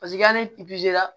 Paseke hali